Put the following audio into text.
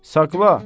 Saqla.